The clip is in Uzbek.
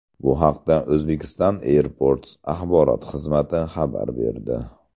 Bu haqda Uzbekistan Airports axborot xizmati xabar berdi .